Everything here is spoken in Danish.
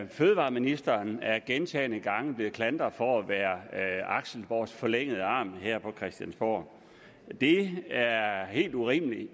fødevareministeren er gentagne gange blevet klandret for at være axelborgs forlængede arm her på christiansborg det er er helt urimeligt at